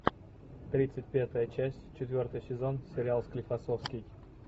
тридцать пятая часть четвертый сезон сериал склифосовский